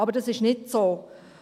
Aber so ist nicht es.